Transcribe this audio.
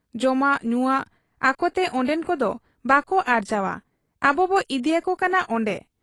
ᱡᱚᱢᱟᱜ ᱧᱩᱣᱟᱜ ᱟᱠᱚᱛᱮ ᱚᱱᱰᱮᱱ ᱠᱚᱫᱚ ᱵᱟᱠᱚ ᱟᱨᱡᱟᱣ ᱟ ᱾ ᱟᱵᱚᱵᱚ ᱤᱫᱤᱭᱟᱠᱚ ᱠᱟᱱᱟ ᱚᱱᱰᱮ ᱾